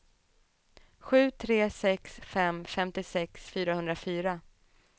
sju tre sex fem femtiosex fyrahundrafyra